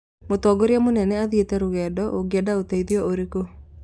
mũtongoria mũnene athiĩte rũgendo ũngĩenda ũteithio ũrĩkũ